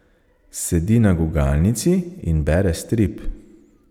Sedi na gugalnici in bere strip.